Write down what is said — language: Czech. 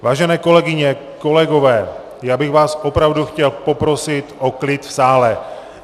Vážené kolegyně, kolegové, já bych vás opravdu chtěl poprosit o klid v sále.